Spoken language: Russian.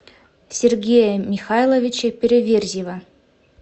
сергея михайловича переверзева